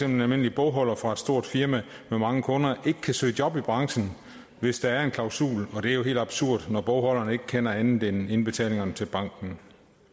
en almindelig bogholder fra et stort firma med mange kunder ikke kan søge job i branchen hvis der er en klausul og det er jo helt absurd når bogholderen ikke kender andet end indbetalingerne til banken